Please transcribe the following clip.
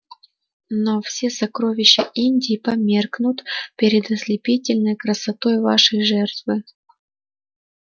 но все сокровища индии померкнут перед ослепительной красотой вашей жертвы